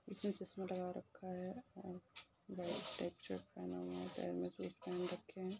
इसने चसमा लगा रखा है और व्हाइट पेंट शर्ट पहन रखी हैं।